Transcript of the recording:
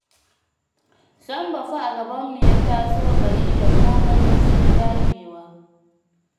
Sambo fa a gabanmu ya taso bai iya komai ba sai dagewa